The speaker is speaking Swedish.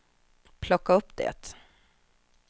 plocka upp det